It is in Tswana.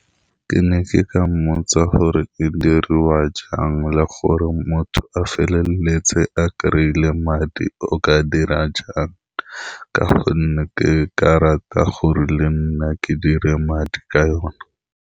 Ke ne ke ka mmotsa gore e diriwa jang, le gore motho a feleletse a kry-ile madi. O ka dira jang, ka gonne ke ka rata gore le nna ke dire madi ka yone.